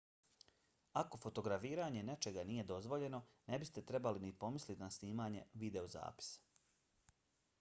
ako fotografiranje nečega nije dozvoljeno ne biste trebali ni pomisliti na snimanje videozapisa